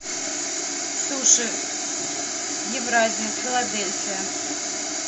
суши евразия филадельфия